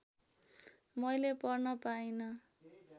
मैले पढ्न पाइन